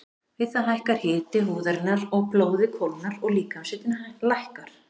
Við það hækkar hiti húðarinnar og blóðið kólnar og líkamshitinn lækkar.